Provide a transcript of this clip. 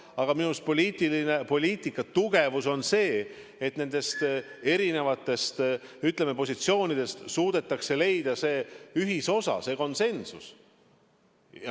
Aga minu arust poliitika tugevus on selles, et nendest erinevatest positsioonidest suudetakse leida ühisosa, konsensus.